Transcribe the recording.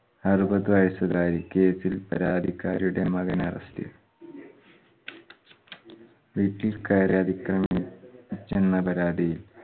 അറുപത് വയസ്സുകാരി case ഇൽ പരാതിക്കാരിയുടെ മകൻ arrest ൽ വീട്ടിൽ കയറി അധിക്രമിച്ചെന്ന പരാതി